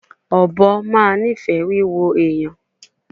Ọbọ ma nifẹ wiwo ẹyan